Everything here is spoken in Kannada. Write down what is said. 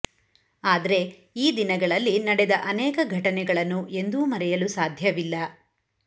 ಆದ್ರೆ ಈ ದಿನಗಳಲ್ಲಿ ನಡೆದ ಅನೇಕ ಘಟನೆಗಳನ್ನು ಎಂದೂ ಮರೆಯಲು ಸಾಧ್ಯವಿಲ್ಲ